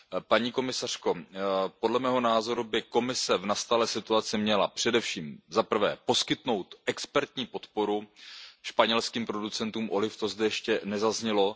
Paní komisařko, podle mého názoru by Evropská komise měla v nastalé situaci především, za prvé, poskytnout expertní podporu španělským producentům oliv, to zde ještě nezaznělo.